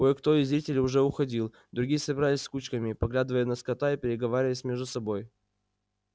кое кто из зрителей уже уходил другие собирались кучками поглядывая на скотта и переговариваясь между собой